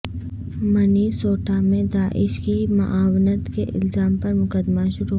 Minnesota میں داعش کی معاونت کے الزام پر مقدمہ شروع